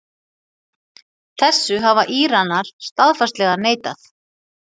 Þessu hafa Íranar staðfastlega neitað